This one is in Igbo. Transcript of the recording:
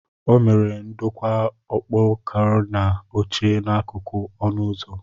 O mere ndokwa okpokorona oche n'akụkụ ọnụ ụzọ.